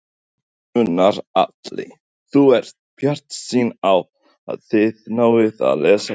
Gunnar Atli: Þú ert bjartsýn á að þið náið að leysa þetta?